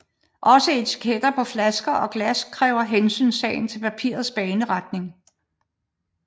Også etiketter på flasker og glas kræver hensyntagen til papirets baneretning